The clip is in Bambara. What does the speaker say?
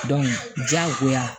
diyagoya